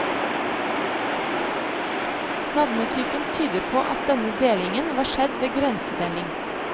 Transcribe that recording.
Navnetypen tyder på at denne delingen var skjedd ved grensedeling.